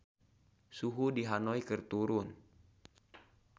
Suhu di Hanoi keur turun